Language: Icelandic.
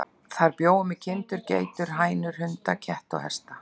Þar bjó hún með kindur, geitur og hænur, hunda, ketti og hesta.